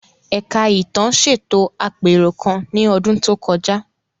Ẹ̀ka Ìtàn ṣètò àpérò kan ní ọdún tó kọjá.